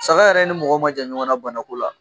Saga yɛrɛ ni mɔgɔw ma jan ɲɔgɔnna banako la!